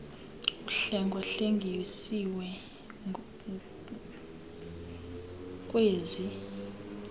uhlenga hlengisiwe ngkwezi